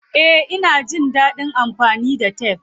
Eh, ina jin dadin amfani da tef.